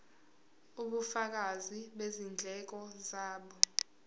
ubufakazi bezindleko zabo